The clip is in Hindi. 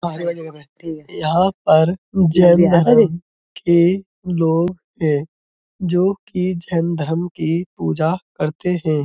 यहाँ पर जैन धर्म के लोग हैं। जो कि जैन धर्म की पूजा करते हैं।